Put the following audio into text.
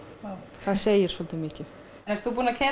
það segir svolítið mikið ert þú búinn að keyra